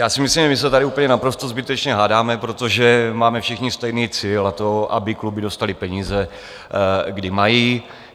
Já si myslím, že se tady úplně naprosto zbytečně hádáme, protože máme všichni stejný cíl, a to, aby kluby dostaly peníze, kdy mají.